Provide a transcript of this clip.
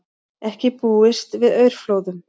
Ekki búist við aurflóðum